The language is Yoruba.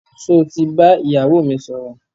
Sọ ti bá ìyàwó mi sọ̀rọ̀?